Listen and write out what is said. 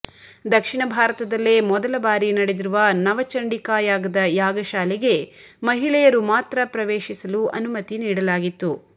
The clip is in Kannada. ದಕ್ಷಿಣ ಭಾರತದಲ್ಲೇ ಮೊದಲ ಬಾರಿ ನಡೆದಿರುವ ನವಚಂಡಿಕಾ ಯಾಗದ ಯಾಗಶಾಲೆಗೆ ಮಹಿಳೆಯರು ಮಾತ್ರ ಪ್ರವೇಶಿಸಲು ಅನುಮತಿ ನೀಡಲಾಗಿತ್ತು